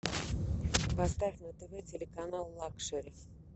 поставь на тв телеканал лакшери